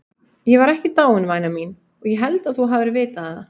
Ég var ekki dáinn væna mín, og ég held þú hafir vitað það.